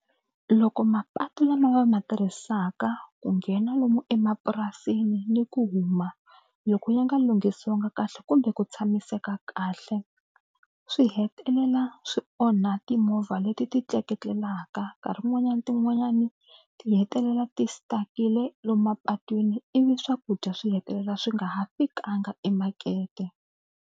Loko mapatu lama va ma tirhisaka ku nghena lomu emapurasini ni ku huma loko ya nga lunghisiwanga kahle kumbe ku tshamiseka kahle swi hetelela swi onha timovha leti ti tleketlelaka nkarhi wun'wanyani tin'wanyani ti hetelela ti stuckile lomu mapatwini ivi swakudya swi hetelela swi nga ha fikanga emakete.